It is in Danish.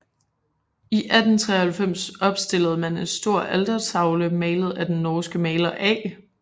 I 1893 opstillede man en stor altertavle malet af den norske maler A